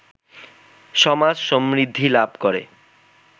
সমাজ সমৃদ্ধি লাভ করে